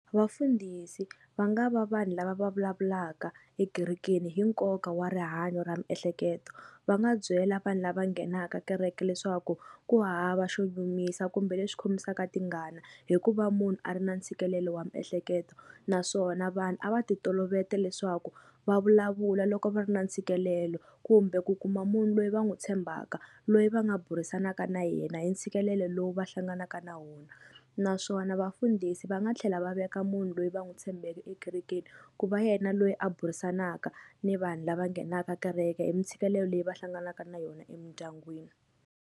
Vafundhisi va nga va vanhu lava va vulavulaka ekerekeni hi nkoka wa rihanyo ra miehleketo va nga byela vanhu lava nghenaka kereke leswaku ku hava xo nyumisa kumbe leswi khomisaka tingana hikuva munhu a ri na ntshikelelo wa miehleketo naswona vanhu a va ti tolovete leswaku va vulavula loko va ri na ntshikelelo kumbe ku kuma munhu loyi va n'wu tshembaka loyi va nga burisanaka na yena hi ntshikelelo lowu va hlanganaka na wona naswona vafundhisi va nga tlhela va veka munhu loyi va n'wi tshembeke ekerekeni ku va yena loyi a burisanaka ni vanhu lava nghenaka kereke hi mi ntshikelelo leyi va hlanganaka na yona emindyangwini.